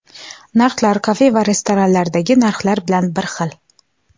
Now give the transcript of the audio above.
Narxlar kafe va restoranlardagi narxlar bilan bir xil.